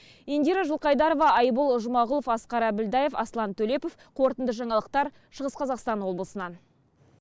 индира жылқайдарова айбол жұмағұлов асқар әбілдаев аслан төлепов қорытынды жаңалықтар шығыс қазақстан облысынан